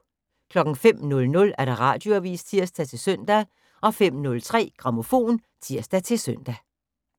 05:00: Radioavis (tir-søn) 05:03: Grammofon (tir-søn)